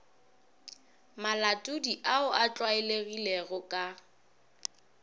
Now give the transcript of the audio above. malatodi ao a tlwaelegilego ka